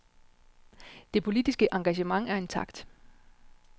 Det politiske engagement er intakt.